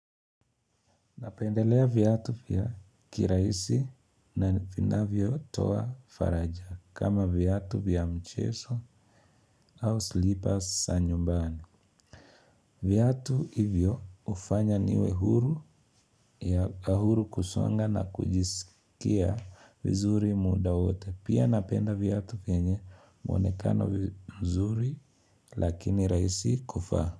Napendelea viatu vya kirahisi na vinavyo toa faraja kama viatu vya mchezo au slippers za nyumbani. Viatu hivyo hufanya niwe huru ya huru kusonga na kujisikia vizuri muda wote. Pia napenda viatu vyenye muonekano vizuri lakini rahisi kuvaa.